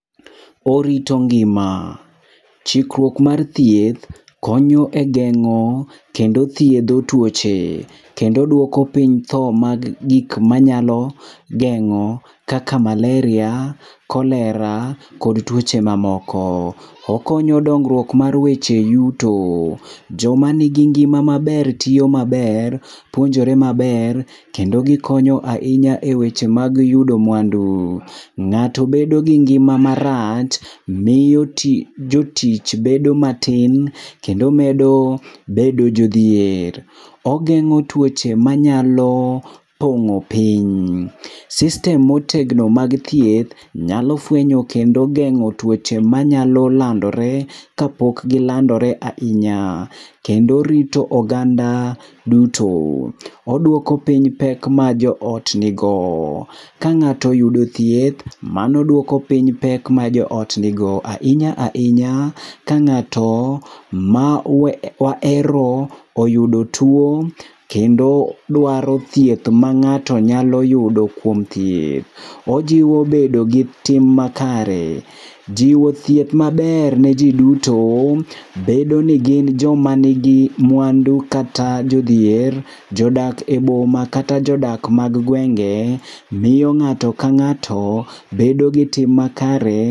Orito ngima. Chikruok mar thieth konyo e geng'o kendo thiedho tuoche, kendo duoko piny tho mag gik manyalo geng'o kaka Malaria, cholera kod tuoche mamoko. Okonyo duongruok mar weche yuto. Jomanigi ngima maber tiyo maber, puonjore maber kendo gikonyo ahinya eweche mag yudo mwandu. Ng'ato bedo gi ngima marach miyo tich jotich bedo matin kendo medo bedo jodhier. Ogeng'o tuoche manyalo pong'o piny. System motegno mag thieth nyalo fuenyo kendo geng'o tuoche manyalo landore kapok gilandore ahinya, kendo rito oganda duto. Oduoko piny pek ma joot nigo. Ka ng'ato oyudo thieth, mano duoko piny pek ma joot nigo. Ahinya ahinya ka ng'ato mo mawahero oyudo tuo, kendo dwaro thieth ma ng'ato nyalo yudo kuom thieth. Ojiwo bedo gi tim makare. Jiwo thieth maber ni ji duto, bedo nigin joma nigi mwandu kata jodhier, jodak e boma kata jodak mag gwenge. Miyo ng'ato ka ng'ato bedo gi tim makare.